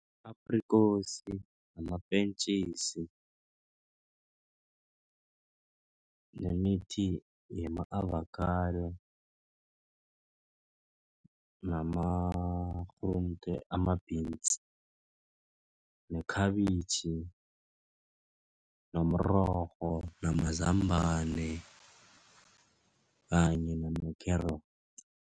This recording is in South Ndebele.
Aprikosi, namapentjisi, nemithi yama-avokhado namakghrunte ama-beans, nekhabitjhi, nomrorho namazambana kanye nama-carrots.